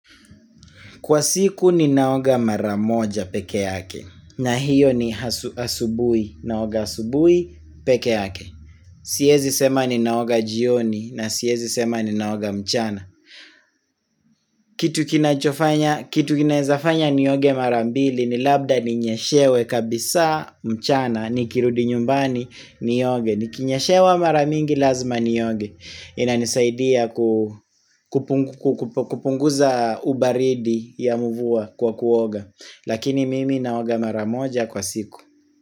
Kwa siku ninaoga mara moja pekeake na hiyo ni asubui, naoga asubui, pekeake Siezi sema ninaoga jioni na siezi sema ninaoga mchana. Kitu kinaeza fanya nioge mara mbili ni labda ninyeshewe kabisaa mchana, nikirudi nyumbani nioge. Nikinyeshewa mara mingi lazima nioge, inanisaidia kupunguza ubaridi ya mvua kwa kuoga. Lakini mimi naoga maramoja kwa siku.